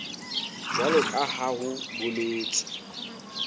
jwalo ka ha ho boletswe